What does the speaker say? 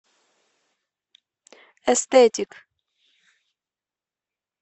эстетик